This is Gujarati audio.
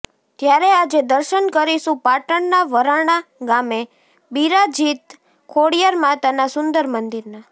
ત્યારે આજે દર્શન કરીશુ પાટણના વરાણા ગામે બિરાજીત ખોડીયાર માતાના સુંદર મંદિરના